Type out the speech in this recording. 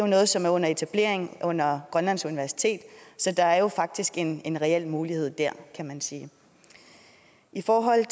noget som er under etablering under grønlands universitet så der er faktisk en en reel mulighed der kan man sige i forhold